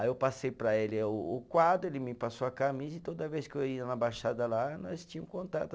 Aí eu passei para ele o o quadro, ele me passou a camisa e toda vez que eu ia na Baixada lá, nós tinha o contato.